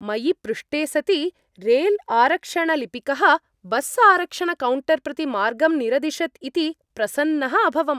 मयि पृष्टे सति रैल्आरक्षणलिपिकः बस्आरक्षणकौण्टर् प्रति मार्गं निरदिशत् इति प्रसन्नः अभवम्।